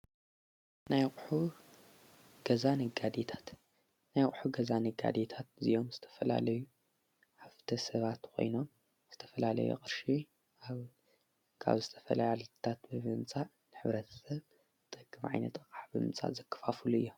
ናይ ቕሑ ገዛ ነጋዴታት እዚዮም ዝተፈላለዩ ሃፍተ ሰባት ኾይኖም ዝተፈላለይ ቕርሺ ኣውጋብ ዝተፈላይ ዓልታት በብንጻዕ ንኅብረት ሰብ ጠጊ መዒይኒጠቓዓ ብምጻ ዘክፋፉሉ እያ።